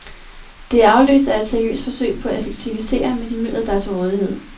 Det er afløst af et seriøst forsøg på at effektivisere med de midler, der er til rådighed.